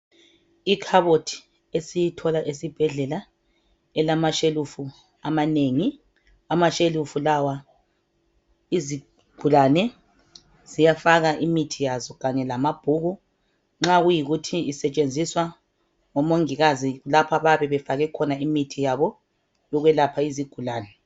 Ikhabothi esiyithola esibhedlela elamashelufu amanengi. Amashelufu lawa izigulane ziyafaka imithi yazo Kanye lamabhuku. Nxa kuyikuthi isetshenziswa ngomongikazi lapha bayabe befake imithi yezigulane.